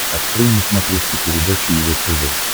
открой на смотрешке передачу его тв